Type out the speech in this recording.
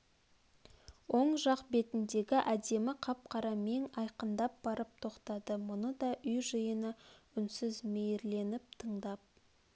оң жақ бетіндегі әдемі қап-қара мең айқындап барып тоқтады мұны да үй жиыны үнсіз мейрленіп тыңдап